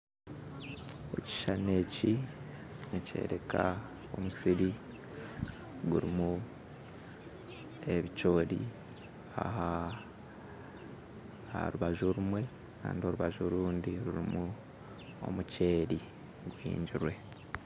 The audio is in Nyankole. Ekishushani eki nikyoreka omusiri gurimu ebicoori aha aharubaju orumwe Kandi orubaju orundi rurimu omuceeri guhingirwe